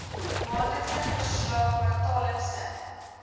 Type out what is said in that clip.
maandelikse verslae kwartaallikse